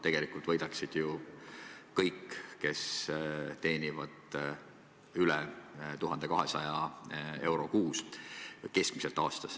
Tegelikult võidaksid ju kõik, kes teenivad aastas keskmiselt üle 1200 euro kuus.